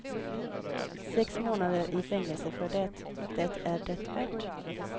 Sex månader i fängelse för det, det är det värt.